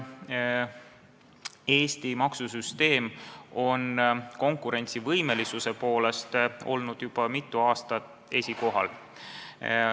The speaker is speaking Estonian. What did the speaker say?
Eesti maksusüsteem on konkurentsivõimelisuse poolest olnud juba mitu aastat esikohal.